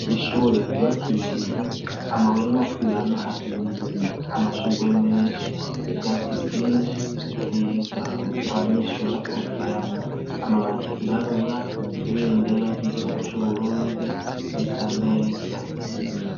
Ishure ryubakishijwe amabuye n'amaturirano ahiye. Amashugwe menshi, ivyatsi vyinshi vyiza abanyeshure baruhukiramwo. Amabati yirabura. Ibendera ry'igihugu c'Uburundi risa neza